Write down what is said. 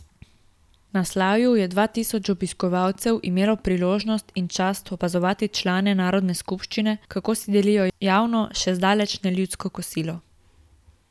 Na slavju je dva tisoč obiskovalcev imelo priložnost in čast opazovati člane narodne skupščine, kako si delijo javno, še zdaleč ne ljudsko kosilo.